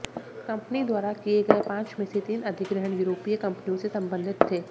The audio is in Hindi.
कंपनी द्वारा किए गए पांच में से तीन अधिग्रहण यूरोपीय कंपनियों से संबंधित थे